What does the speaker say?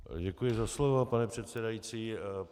Děkuji za slovo, pane předsedající.